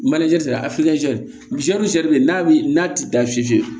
Manje sa a n'a bɛ n'a ti dan fizi